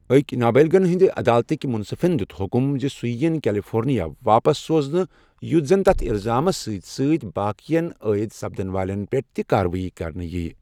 أکۍ نابالِغن ہِنٛدِ عدالتٕکۍ منصِفن دیُت حکم زِ سُہ یین کیلفورنیا واپس سوزنہٕ یُتھ زن تتھ اِلزامس سۭتۍ سۭتۍ باقِین ٲید سپدن والٮ۪ن پٮ۪ٹھ تہِ كاروٲیی كرنہٕ ییہ ۔